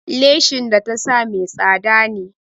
Leshin da ta sa mai tsada ne.